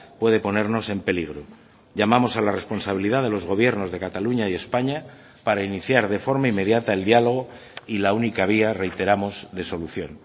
puede ponernos en peligro llamamos a la responsabilidad de los gobiernos de cataluña y españa para iniciar de forma inmediata el diálogo y la única vía reiteramos de solución